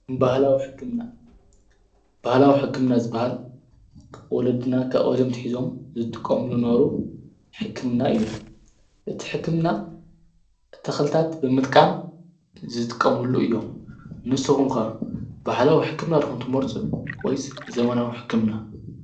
ባህላዊ ሕክምና ባህላዊ ሕክምና ዝባሃል ወለዲና ካብ ቀደም ኣትሒዞም ዝጥቀምሉ ዝነበሩ ሕክምና እዩ። እቲ ሕክምና ተክልታት ብምጥቃም ዝጠቀምሉ እዮም። ንስኩም ከ ባህላዊ ሕክምና ዲኹም ትመርፁ ወይስ ዘመናዊ ሕክምና?